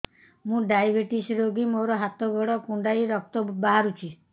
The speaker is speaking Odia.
ମୁ ଡାଏବେଟିସ ରୋଗୀ ମୋର ହାତ ଗୋଡ଼ କୁଣ୍ଡାଇ ରକ୍ତ ବାହାରୁଚି